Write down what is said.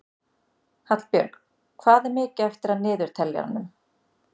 Hallbjörg, hvað er mikið eftir af niðurteljaranum?